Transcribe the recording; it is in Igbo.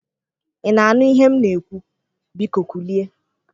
Ịna anụ ihe m n'ekwu? biko kulie.